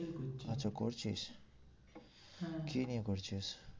করছি। আচ্ছা করছিস? হ্যাঁ কি নিয়ে করছিস?